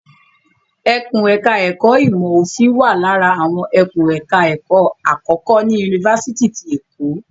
Ẹkùn ẹ̀ka ẹ̀kó ìmọ̀ òfin wà lára àwọn ẹkùn ẹ̀ka ẹ̀kó àkọ́kọ́ ní Yunifásitì ti Èkó.